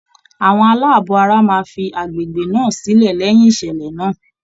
Àwọn aláàbọ̀ ara máa fi agbègbè náà sílẹ̀ lẹ́yin ìṣẹ̀lẹ̀ náà.